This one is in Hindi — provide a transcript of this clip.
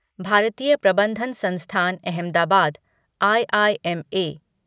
भारतीय प्रबंधन संस्थान अहमदाबाद आईआईएम